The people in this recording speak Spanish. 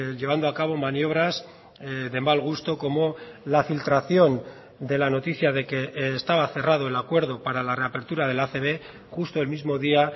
llevando a cabo maniobras de mal gusto como la filtración de la noticia de que estaba cerrado el acuerdo para la reapertura de la acb justo el mismo día